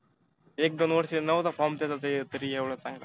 एक दोन वर्ष नव्हता form त्याचा ते तरी एवढा चांगला.